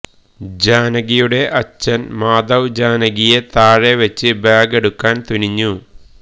ജാനകിയുടെ അച്ഛൻ മാധവ് ജാനകിയെ താഴെ വെച്ച് ബാഗ് എടുക്കാൻ തുനിഞ്ഞു